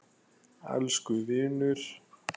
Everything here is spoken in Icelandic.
Elsku vinur.